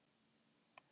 Þegar et al.